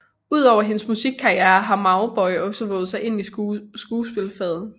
Udover hendes musikkarriere har Mauboy også vovet sig ind i skuespilfaget